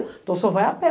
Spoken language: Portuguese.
Então, o senhor vai a pé.